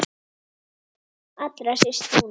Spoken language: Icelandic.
Allra síst núna.